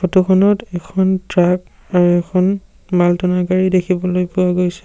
ফটোখনত এখন ট্ৰাক আৰু এখন মাল টানা গাড়ী দেখিবলৈ পোৱা গৈছে।